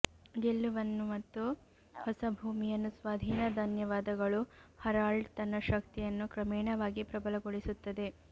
ಗೆಲುವನ್ನು ಮತ್ತು ಹೊಸ ಭೂಮಿಯನ್ನು ಸ್ವಾಧೀನ ಧನ್ಯವಾದಗಳು ಹರಾಲ್ಡ್ ತನ್ನ ಶಕ್ತಿಯನ್ನು ಕ್ರಮೇಣವಾಗಿ ಪ್ರಬಲಗೊಳಿಸುತ್ತದೆ